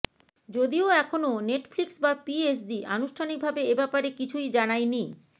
যদিও এখনও নেটফ্লিক্স বা পিএসজি আনুষ্ঠানিক ভাবে এ ব্যাপারে কিছুই জানায়নি